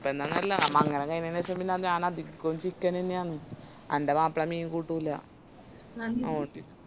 അങ്ങനൊന്നുല്ല മംഗലം കൈഞ്ഞെന് ശേഷം പിന്ന ഞാൻ അധികോം chicken നന്നേയാന്ന് എന്റെ മാപ്പള മീൻ കൂട്ടൂല